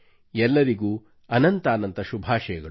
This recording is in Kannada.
ಎಲ್ಲರಿಗೂ ಅನಂತಾನಂತ ಶುಭಾಶಯಗಳು